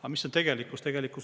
Aga mis on tegelikkus?